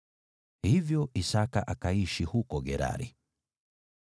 Hivyo Isaki akaishi huko Gerari.